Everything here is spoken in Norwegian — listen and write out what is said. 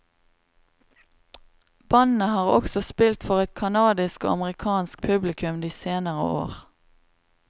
Bandet har også spilt for et kanadisk og amerikansk publikum de senere år.